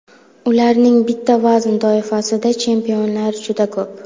Ularning bitta vazn toifasida chempionlar juda ko‘p.